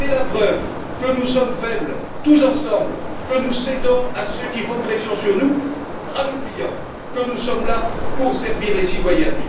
C'est la preuve que nous sommes faibles, tous ensemble, que nous cédons à ceux qui font pression sur nous, en oubliant que nous sommes là pour servir les citoyens.